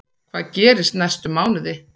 Hvað gerist næstu mánuði?